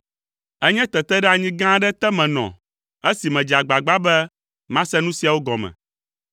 Enye teteɖeanyi gã aɖe te menɔ esi medze agbagba be mase nu siawo gɔme,